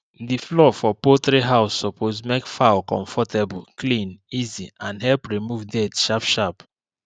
di floor for poultry house suppose make fowl comfortable clean easy and help remove dirt sharp sharp